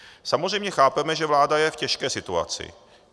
Samozřejmě chápeme, že vláda je v těžké situaci.